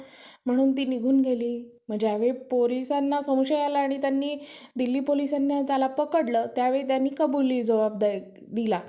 पण काहींचा rate आता बघ ज्या government असतात, त्यांचा असतो. सहा, आठ पासून सात टक्के व्याज.